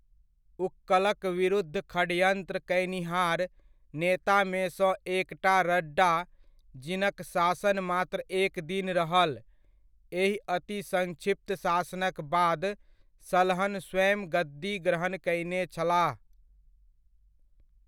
उक्कलक विरुद्ध षडयन्त्र कयनिहार नेतामेसँ एकटा रड्डा, जिनक शासन मात्र एक दिन रहल, एहि अति संक्षिप्त शासनक बाद सलहन स्वयं गद्दी ग्रहण कयने छलाह।